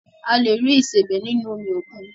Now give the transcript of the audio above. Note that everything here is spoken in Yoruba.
A lè rí ìsebẹ́ nínú omi òkun